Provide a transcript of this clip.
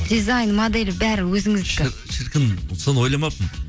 дизайн моделі бәрі өзіңіздікі шіркін соны ойламаппын